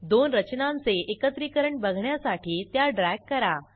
दोन रचनांचे एकत्रीकरण बघण्यासाठी त्या ड्रॅग करा